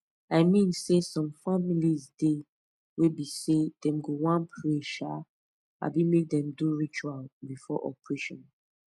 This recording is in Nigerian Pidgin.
i mean saysome family dey wey be say dem go wan pray um abi make dem do ritual before operation